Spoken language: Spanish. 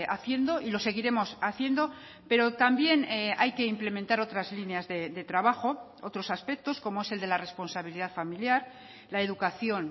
haciendo y lo seguiremos haciendo pero también hay que implementar otras líneas de trabajo otros aspectos como es el de la responsabilidad familiar la educación